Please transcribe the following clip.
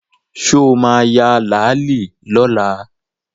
Sọ ma ya làálí lọ́la?